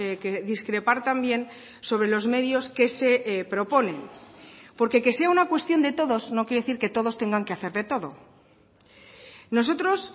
que discrepar también sobre los medios que se proponen porque que sea una cuestión de todos no quiere decir que todos tengan que hacer de todo nosotros